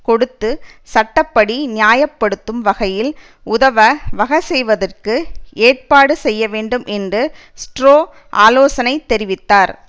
கொடுத்து சட்ட படி நியாய படுத்தும் வகையில் உதவ வகசெய்வதற்கு ஏற்பாடு செய்யவேண்டும் என்று ஸ்ட்ரோ ஆலோசனை தெரிவித்தார்